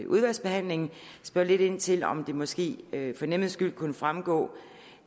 udvalgsbehandlingen spørge lidt ind til om det måske for nemheds skyld kunne fremgå